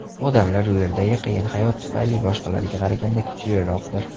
Odamlar u yerdagi qiyin hayot tufayli boshqalarga qaraganda kuchliroqdir.